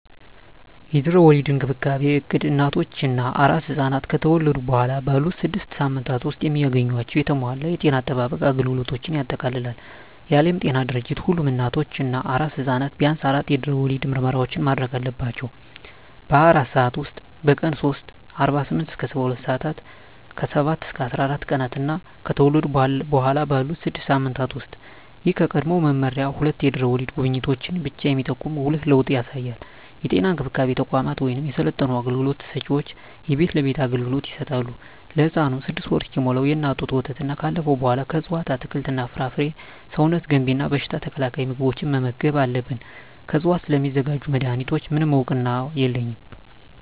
የድህረ ወሊድ እንክብካቤ እቅድ እናቶች እና አራስ ሕፃናት ከተወለዱ በኋላ ባሉት ስድስት ሳምንታት ውስጥ የሚያገኟቸውን የተሟላ የጤና አጠባበቅ አገልግሎቶችን ያጠቃልላል። የዓለም ጤና ድርጅት ሁሉም እናቶች እና አራስ ሕፃናት ቢያንስ አራት የድህረ ወሊድ ምርመራዎችን ማድረግ አለባቸው - በ24 ሰዓት ውስጥ፣ በቀን 3 (48-72 ሰአታት)፣ ከ7-14 ቀናት እና ከተወለዱ በኋላ ባሉት 6 ሳምንታት ውስጥ። ይህ ከቀድሞው መመሪያ ሁለት የድህረ ወሊድ ጉብኝቶችን ብቻ የሚጠቁም ጉልህ ለውጥ ያሳያል። የጤና እንክብካቤ ተቋማት ወይም የሰለጠኑ አገልግሎት ሰጭዎች የቤት ለቤት አገልግሎት ይሰጣሉ። ለህፃኑም 6ወር እስኪሞላው የእናት ጡት ወተትና ካለፈው በኃላ ከእፅዋት አትክልት፣ ፍራፍሬ ሰውነት ገንቢ እና በሽታ ተከላካይ ምግቦችን መመገብ አለብን። ከዕፅዋት ስለሚዘጋጁ መድኃኒቶች፣ ምንም እውቅና የለኝም።